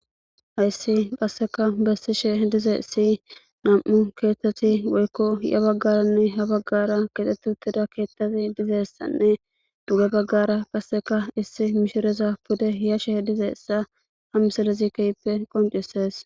Hayssi qasseka bessishe dize si nam7u keethtati woykko ya baggaranne ha baggara kexxett uttida keethtati dizeessanne duge baggara qasseka issi mishireza pude hiyashe dizeessa hamsalezikeyppe qoncissees.